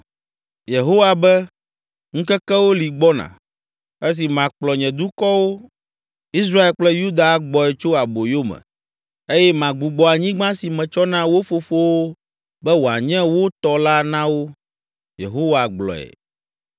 Yehowa be, ‘Ŋkekewo li gbɔna, esi makplɔ nye dukɔwo Israel kple Yuda agbɔe tso aboyo me, eye magbugbɔ anyigba si metsɔ na wo fofowo be wòanye wo tɔ la na wo.’ ” Yehowa gblɔe.